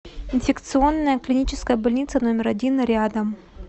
инфекционная клиническая больница номер один рядом